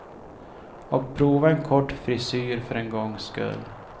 Och prova en kort frisyr för en gångs skull.